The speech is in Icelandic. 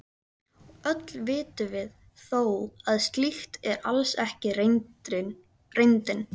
Öll vitum við þó að slíkt er alls ekki reyndin.